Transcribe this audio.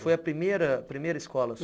Foi a primeira primeira escola sua?